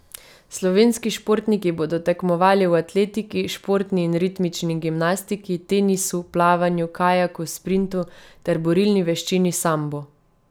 Slovenski športniki bodo tekmovali v atletiki, športni in ritmični gimnastiki, tenisu, plavanju, kajaku sprintu ter borilni veščini sambo.